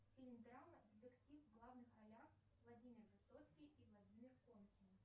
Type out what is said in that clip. фильм драма детектив в главных ролях владимир высоцкий и владимир конкин